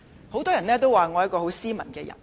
很多人說我很斯文。